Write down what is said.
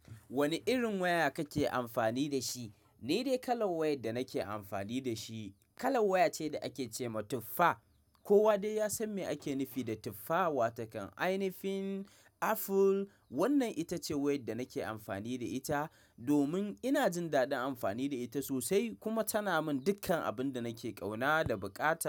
Wane irin waya kake amfani da shi? Ni dai kalan wayan da nake amfani da shi, kalan waya ce da ake ce ma tuffa. Kowa dai ya san me ake nufi da tuffawa. Takan ainifin, Aful wannan ita ce wayar da nake amfani da ita, domin ina jin daɗin amfani da ita sosai, kuma tana min dukkan abun da nake kauna da bukata.